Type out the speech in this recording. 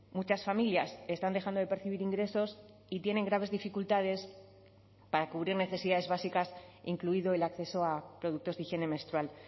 muchas familias están dejando de percibir ingresos y tienen graves dificultades para cubrir necesidades básicas incluido el acceso a productos de higiene menstrual